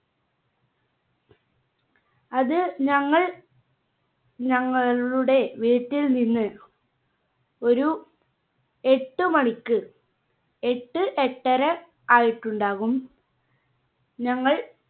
അത് ഞങ്ങൾ ഞങ്ങളു~ളുടെ വീട്ടിൽ നിന്ന് ഒരു എട്ട് മണിക്ക് എട്ട് എട്ടര ആയിട്ടുണ്ടാകും ഞങ്ങൾ